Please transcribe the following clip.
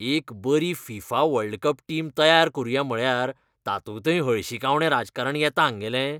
एक बरी FIFA world cup team तयार करुंया म्हळ्यार तातूंतय हळशिकावणें राजकारण येता हांगेलें.